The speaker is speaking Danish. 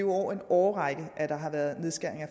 over en årrække at der har været nedskæringer